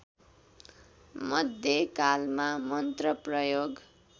मध्य कालमा मन्त्र प्रयोग